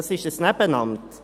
Es ist ein Nebenamt.